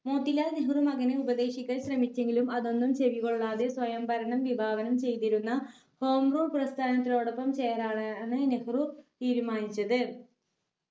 മോത്തിലാൽ നെഹ്‌റു മകനെ ഉപദേശിക്കാൻ ശ്രമിച്ചെങ്കിലും അതൊന്നും ചെവികൊള്ളാതെ സ്വയം ഭരണം വിഭാവനം ചെയ്തിരുന്ന കോങ്കോ പ്രസ്ഥാനത്തിനോടൊപ്പം ചേരാനാണ് നെഹ്‌റു തീരുമാനിച്ചത്.